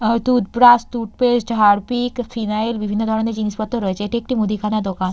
আহ toothbrush toothpaste Harpic phenyl বিভিন্ন ধরনের জিনিসপত্র রয়েছে এটি একটি মুদিখানা দোকান।